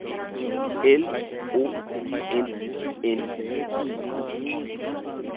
L O N N I E